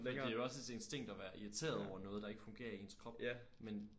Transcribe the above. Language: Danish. For det jo også et instinkt at være irriteret over noget der ikke fungerer i ens krop men